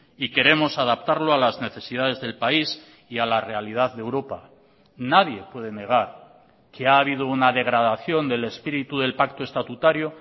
y queremos adaptarlo a las necesidades del país y a la realidad de europa nadie puede negar que ha habido una degradación del espíritu del pacto estatutario